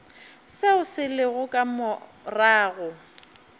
seo se lego ka morago